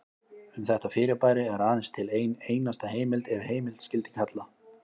Um þetta fyrirbæri er aðeins til ein einasta heimild ef heimild skyldi kalla.